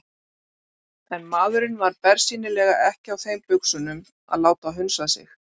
En maðurinn var bersýnilega ekki á þeim buxunum að láta hunsa sig.